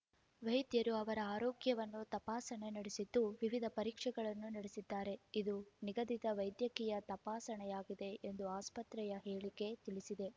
ವೈದ್ಯರು ಅವರ ಆರೋಗ್ಯವನ್ನು ತಪಾಸಣೆ ನಡೆಸಿದ್ದು ವಿವಿಧ ಪರೀಕ್ಷೆಗಳನ್ನು ನಡೆಸಿದ್ದಾರೆ ಇದು ನಿಗದಿತ ವೈದ್ಯಕೀಯ ತಪಾಸಣೆಯಾಗಿದೆ ಎಂದು ಆಸ್ಪತ್ರೆಯ ಹೇಳಿಕೆ ತಿಳಿಸಿದೆ